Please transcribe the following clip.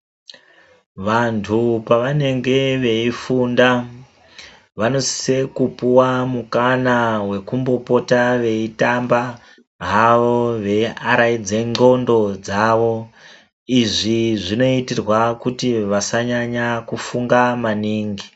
Vantu pavanenge veifunda vanosise kupuwa mukana wekumbopota veitamba havo ,veiaraidze ndxondo dzavo. Izvi zvinoitirwa kuti vasanyanya kufunga maningi.